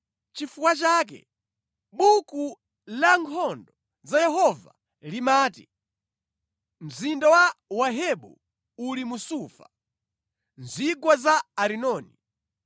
Nʼchifukwa chake Buku la Nkhondo za Yehova limati, “Mzinda wa Wahebu uli mu Sufa, mu zigwa za Arinoni,